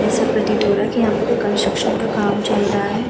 ऐसा प्रतीत हो रहा है कि यहाँ पे कोई कंस्ट्रक्ट का काम चल रहा है।